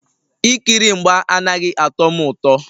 Ikiri mgba anaghị atọ m ụtọ